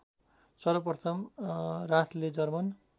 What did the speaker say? सर्वप्रथम राथले जर्मन